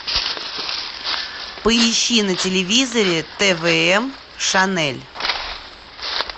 поищи на телевизоре твм шанель